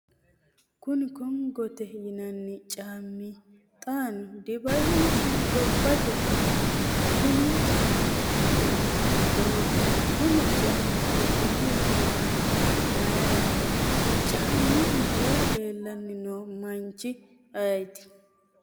kuni kongote yinanni caammi xaano dibai isi gobbatenni? konni caammi dani hiittooho? kuni caammi wodhiniro bowannohu mayiiraati? caammu mule leellanni noo manchi ayeet ;